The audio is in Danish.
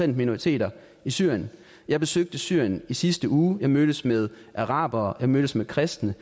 minoriteterne i syrien jeg besøgte syrien i sidste uge jeg mødtes med arabere jeg mødtes med kristne